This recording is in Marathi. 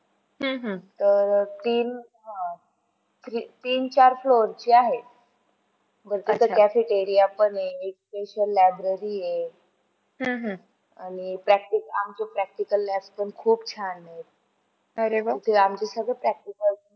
तीन चार floor ची आहे, cafeteria पण आहे library आहे आणि आमचं practical lab पण खूप छान आहे.